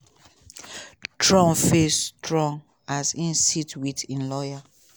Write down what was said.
trump face strong as e sit wit im lawyer.